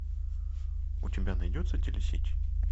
у тебя найдется телесеть